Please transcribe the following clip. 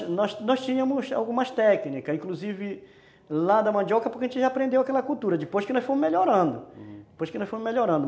É, nós nós tínhamos algumas técnicas, inclusive lá da mandioca, porque a gente já aprendeu aquela cultura, depois que nós fomos melhorando, depois que nós fomos melhorando, hum.